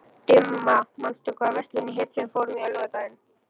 Dimma, manstu hvað verslunin hét sem við fórum í á laugardaginn?